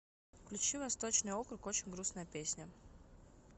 включи восточный округ очень грустная песня